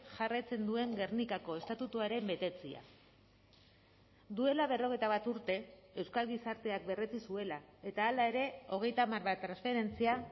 jarraitzen duen gernikako estatutuaren betetzea duela berrogeita bat urte euskal gizarteak berretsi zuela eta hala ere hogeita hamar transferentzia